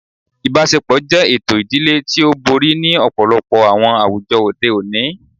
Ibaṣepọ jẹ eto idile ti o bori ni ọpọlọpọ awọn awujọ ode oni